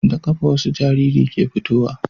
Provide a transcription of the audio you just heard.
Da kafa wasu jariri ke fitowa